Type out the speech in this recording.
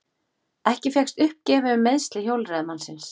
Ekki fékkst uppgefið um meiðsli hjólreiðamannsins